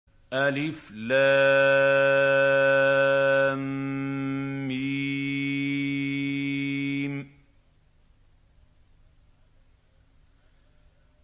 الم